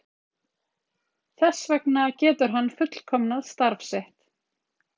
Þess vegna getur hann fullkomnað starf sitt.